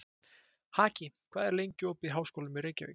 Haki, hvað er lengi opið í Háskólanum í Reykjavík?